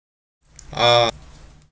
а